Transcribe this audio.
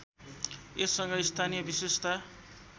यससँग स्थानीय विषेशता